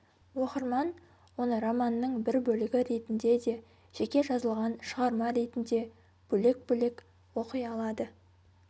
оқырман оны романның бір бөлігі ретінде де жеке жазылған шығарма ретінде бөлек-бөлек оқи алады